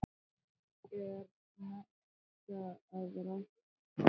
Er nautn að rækta líkamann?